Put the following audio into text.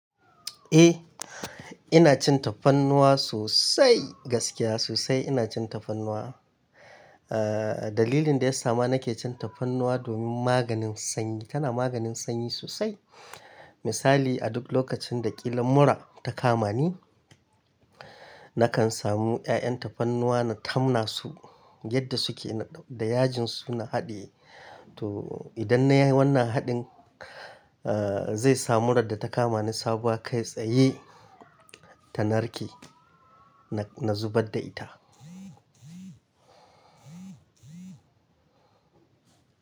Eh, ina cin tafarnuwa sosai, gaskiya sosai ina cin tafarnuwa. Dalilin dayasa ma nake cin tafarnuwa domin maganin sanyi, tana maganin sanyi sosai. Misali a duk lokacin da ƙila mura ta kama ni, nakan samu 'ya'yan tafarnuwa na tamna su yadda suke da yajin su na haɗiye. To idan nayi wannan haɗin, zai sa murar da ta kama ni sabuwa kai tsaye ta narke. Na zubar da ita.